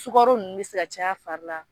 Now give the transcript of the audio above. Sukaro nunnu be se ka caya a fari la.